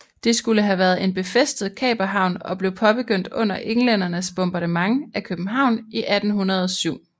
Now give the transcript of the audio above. Det skulle have været en befæstet kaperhavn og blev påbegyndt under englændernes bombardement af København i 1807